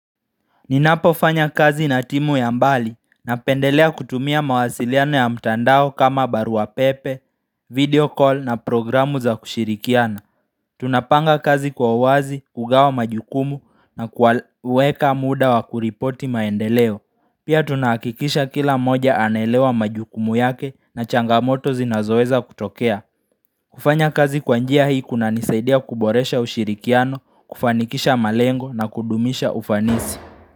Ninapofanya kazi na timu ya mbali napendelea kutumia mawasiliano ya mtandao kama barua pepe, video call na programu za kushirikiana. Tunapanga kazi kwa uwazi, kugawa majukumu na kwa uweka muda wa kuripoti maendeleo. Pia tunahakikisha kila mmoja anelewa majukumu yake na changamoto zinazoweza kutokea. Kufanya kazi kwa njia hii kunanisaidia kuboresha ushirikiano, kufanikisha malengo na kudumisha ufanisi.